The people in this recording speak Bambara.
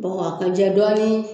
Bɔgɔ a ka jɛ dɔɔni.